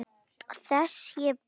Þess ég bið.